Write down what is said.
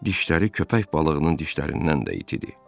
Dişləri köpək balığının dişlərindən də itidir.